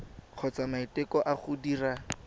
kgotsa maiteko a go dira